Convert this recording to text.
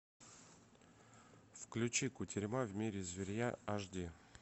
включи кутерьма в мире зверья аш ди